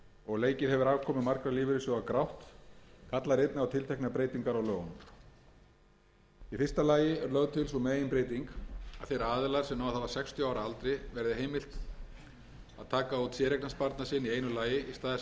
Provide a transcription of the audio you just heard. og leikið hefur afkomu margra lífeyrissjóða grátt kallar einnig á tilteknar breytingar á lögunum í fyrsta lagi er lögð til sú meginbreyting að þeim aðilum sem náð hafa sextíu ára aldri verði heimilt að taka út séreignarsparnað sinn í einu lagi í stað þess að dreifa greiðslum á sjö ár eins og kveðið